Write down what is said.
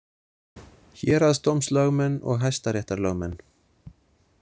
Héraðsdómslögmenn og hæstaréttarlögmenn.